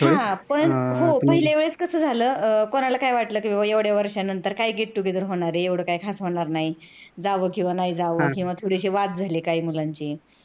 हा हो पण पहिल्यावेळेस कस झाल कोणाला काय वाटलं कि बाबा एवढ्या वर्ष्यानंतर काय get together होणार आहे एवढ की खास होणार नाही. जाव किंवा नाही जाव किंवा थोडेसे वाद झाले काही मुलांचे